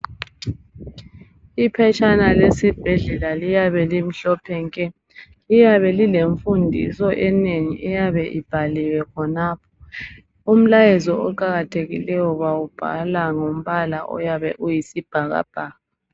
Iphetshana lesibhedlela liyabe limhlophe nke liyabe lilemfundiso enengi eyabe ibhaliwe khonapho umlayezo oqakathekileyo bawubhala ngombala oyabe uyisibhakabhaka.